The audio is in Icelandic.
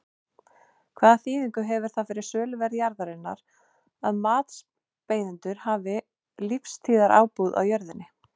Hvaða þýðingu hefur það fyrir söluverð jarðarinnar að matsbeiðendur hafa lífstíðarábúð á jörðinni?